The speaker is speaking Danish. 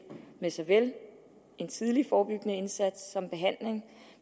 med såvel en tidlig forebyggende indsats som behandling